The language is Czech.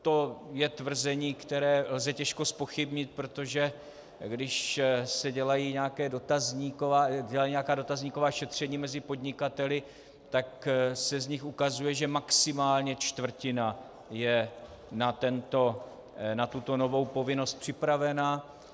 To je tvrzení, které lze těžko zpochybnit, protože když se dělají nějaká dotazníková šetření mezi podnikateli, tak se z nich ukazuje, že maximálně čtvrtina je na tuto novou povinnost připravena.